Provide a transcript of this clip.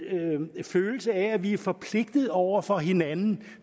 følelse af at vi er forpligtede over for hinanden